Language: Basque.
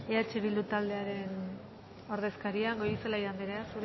eh bildu taldearen ordezkaria goirizelaia andrea zurea